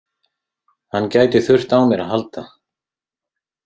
Hann gæti þurft á mér að halda